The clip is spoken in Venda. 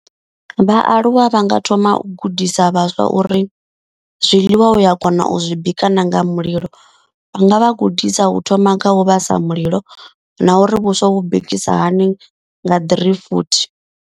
Vhaaluwa vha nga thoma u gudisa vhaswa uri zwiḽiwa u ya kona u zwi bika na nga mulilo. Vha nga vha gudisa u thoma nga u vhasa mulilo na uri vhuswa vhu bikisa hani nga ḓirifuthi.